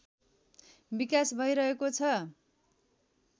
विकास भइरहेको छ